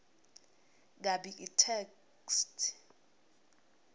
kabi itheksthi